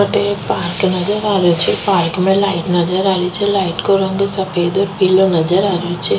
अठे एक पार्क नजर आ रो छे पार्क में लाइट नजर आ रही छे लाइट को रंग सफ़ेद और पिलो नजर आ रो छे।